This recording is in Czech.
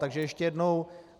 Takže ještě jednou.